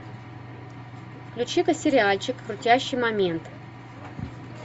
включи ка сериальчик крутящий момент